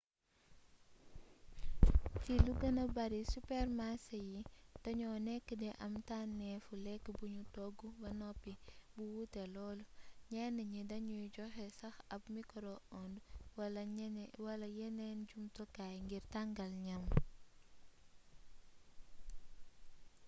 ci lu gëna bari supermarsé yi dañoo nekk di am tànnéefu lekk buñu togg ba noppi bu wuute lool ñenn ni dañuy joxe sax ab mikoro ond wala yeneeni jumtukaay ngir tangal ñam